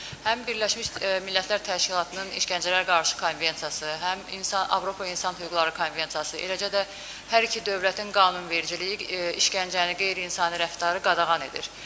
Həm Birləşmiş Millətlər Təşkilatının İşgəncələrə Qarşı Konvensiyası, həm insan, Avropa İnsan Hüquqları Konvensiyası, eləcə də hər iki dövlətin qanunvericiliyi işgəncəni, qeyri-insani rəftarı qadağan edir.